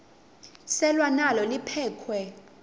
selwa nalo liphekhwe